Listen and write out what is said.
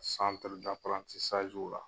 San la.